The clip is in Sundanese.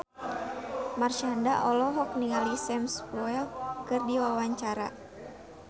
Marshanda olohok ningali Sam Spruell keur diwawancara